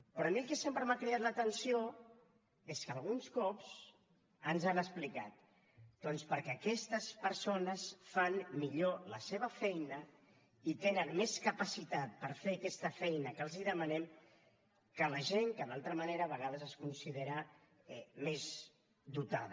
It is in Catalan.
però a mi el que sempre m’ha cridat l’atenció és que alguns cops ens han explicat doncs perquè aquestes persones fan millor la seva feina i tenen més capacitat per fer aquesta feina que els demanem que la gent que d’altra manera a vegades es considera més dotada